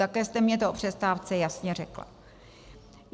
Také jste mi to o přestávce jasně řekla.